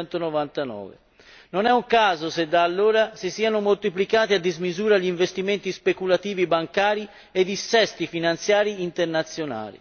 1999. Non è un caso se da allora si sono moltiplicati a dismisura gli investimenti speculativi bancari e i dissesti finanziari internazionali.